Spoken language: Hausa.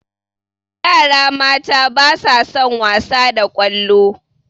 Yara mata ba sa son wasa da ƙwallo